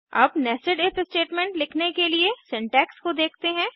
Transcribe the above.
अब nested if statement लिखने के लिए सिंटैक्स को देखते हैं